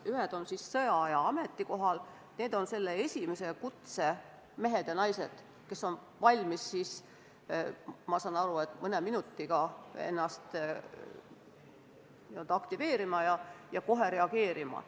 Ühed on sõjaaja ametikohal, need on selle esimese kutse mehed ja naised, kes on valmis, ma saan aru, mõne minutiga ennast n-ö aktiveerima ja kohe reageerima.